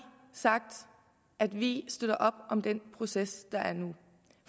sagt at vi støtter op om den proces der er nu